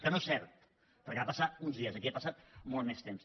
que no és cert perquè va passar uns dies i aquí ha passat molt més temps